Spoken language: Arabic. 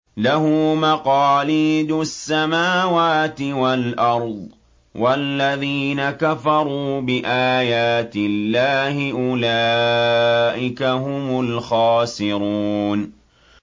لَّهُ مَقَالِيدُ السَّمَاوَاتِ وَالْأَرْضِ ۗ وَالَّذِينَ كَفَرُوا بِآيَاتِ اللَّهِ أُولَٰئِكَ هُمُ الْخَاسِرُونَ